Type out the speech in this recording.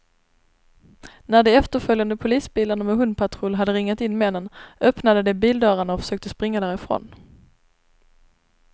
När de efterföljande polisbilarna med hundpatrull hade ringat in männen, öppnade de bildörrarna och försökte springa därifrån.